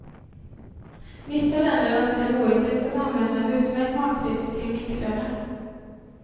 Vissa länder anser det oetiskt att använda en utmärkt matfisk till minkföda.